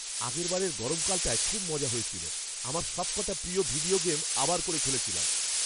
আগেরবারের গরমকালটায় খুব মজা হয়েছিল। আমার সবকটা প্রিয় ভিডিও গেম আবার করে খেলেছিলাম।